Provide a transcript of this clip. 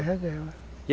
reserva.